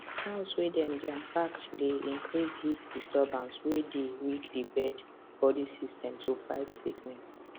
house way dey jam pack dey increase heat disturbance way dey weak the birds body system to fight sickness